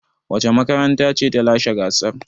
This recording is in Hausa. Wace makaranta ce ta lashe gasar?